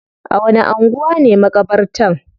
A wani anguwa ne makabartan?